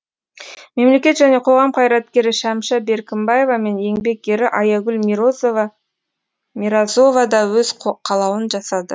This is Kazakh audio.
мемлекет және қоғам қайраткері шәмшә беркімбаева мен еңбек ері аягүл миразова да өз қалауын жасады